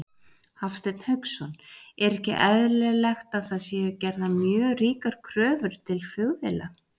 Hafsteinn Hauksson: Er ekki eðlilegt að það séu gerðar mjög ríkar kröfur til flugvéla?